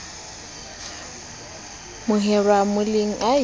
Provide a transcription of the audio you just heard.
horeba mo lebelle o a